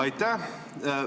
Aitäh!